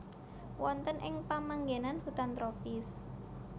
Wonten ing pamanggenan hutan tropis